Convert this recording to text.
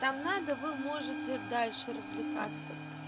там надо вы можете дальше развлекаться